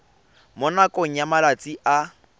mo nakong ya malatsi a